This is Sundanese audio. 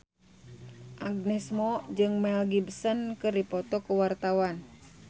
Agnes Mo jeung Mel Gibson keur dipoto ku wartawan